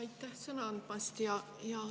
Aitäh sõna andmast!